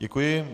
Děkuji.